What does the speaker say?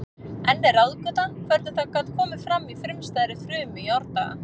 Enn er ráðgáta hvernig það gat komið fram í frumstæðri frumu í árdaga.